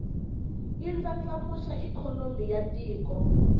yi ndlandlamuxa ikhonomi ya tiko